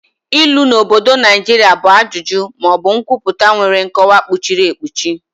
Ilu na obodo Naijiria bụ ajụjụ ma ọ bụ nkwupụta nwere nkọwa kpuchiri ekpuchi.